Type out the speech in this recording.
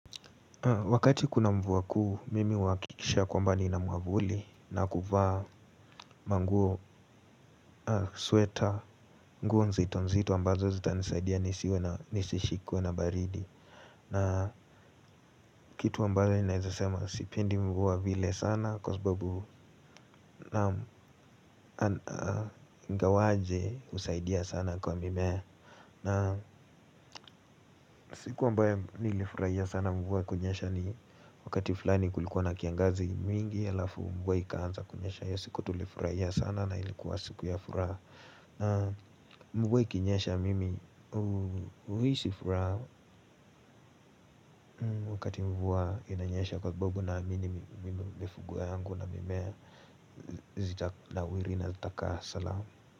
Wakati kuna mvua kuu, mimi huhakikisha kwamba nina mwavuli na kuvaa manguo, sweater, nguo nzito nzito ambazo zitanisaidia nisiwe na nisishikwe na baridi. Na kitu ambayo naeza sema sipendi mvua vile sana kwa sababu ingawaje husaidia sana kwa mimea. Na siku ambayo nilifurahia sana mvua kunyesha ni wakati fulani kulikuwa na kiangazi mingi halafu mvua ikaanza kunyesha hiyo siku tulifurahia sana na ilikuwa siku ya furaha. Na mvua ikinyesha mimi huhisi furaha wakati mvua inanyesha kwa sababu naamini mifugo yangu na mimea zita nawiri na zitakaa salamu.